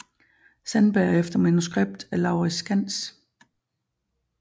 Sandberg efter manuskript af Laurids Skands